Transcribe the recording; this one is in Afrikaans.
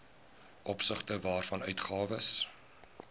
opsigte waarvan uitgawes